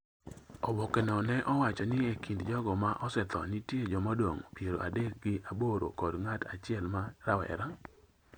Oboke no ne owacho ni e kind jogo ma osetho nitie jomadongo piero adek gi aboro kod ng’at achiel ma rawera.